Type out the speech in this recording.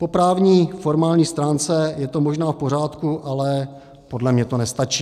Po právní, formální, stránce je to možná v pořádku, ale podle mě to nestačí.